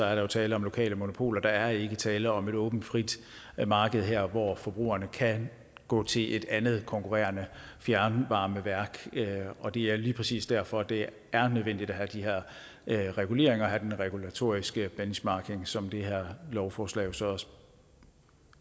er der tale om lokale monopoler der er ikke tale om et åbent frit marked her hvor forbrugerne kan gå til et andet konkurrerende fjernvarmeværk og det er lige præcis derfor at det er nødvendigt at have de her reguleringer og den regulatoriske benchmarking som det her lovforslag